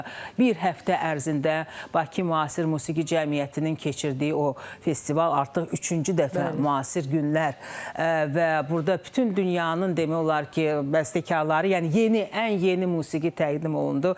Bir həftə ərzində Bakı müasir musiqi cəmiyyətinin keçirdiyi o festival artıq üçüncü dəfə müasir günlər və burda bütün dünyanın demək olar ki, bəstəkarları, yəni yeni, ən yeni musiqi təqdim olundu.